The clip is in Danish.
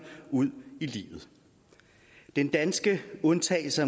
ud i livet den danske undtagelse